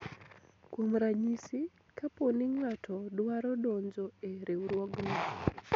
kuom ranyisi ,kapo ni ng'ato dwaro donjo e riwruogni